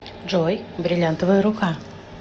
джой бриллинтовая рука